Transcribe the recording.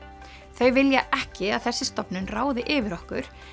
þau vilja ekki að þessi stofnun ráði yfir okkur